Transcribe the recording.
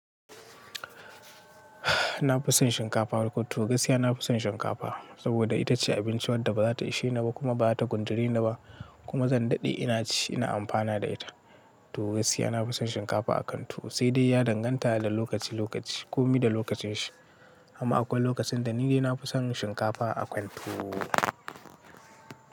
Na fi son shinkafa, to gaskiya na fi son shinkafa saboda ita ce abincin wadda ba za ta ishe ni ba kuma ba ta gunture ni ba kuma zan daɗe ina ci ina amfana da ita. To gaskiya na fi son shinkafa a kan tuwo sai dai ya danganta da lokaci lokaci. Komi da lokacin shi. Amma akwai lokacin da ni dai na fi son shinkafa a kan tuwo.